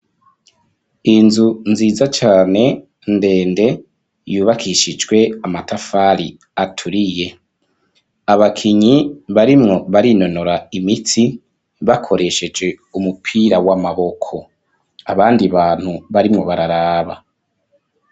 Inzu nziza cane ndende yubakishijwe amatafari aturiye. Abakinyi barimwo barinonora imitsi, bakoresheje umupira w'amaboko. Abandi bantu barimwo bararaba.